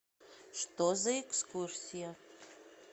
что за экскурсия